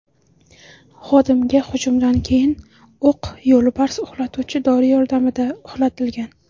Xodimga hujumdan keyin o‘q yo‘lbars uxlatuvchi dori yordamida uxlatilgan.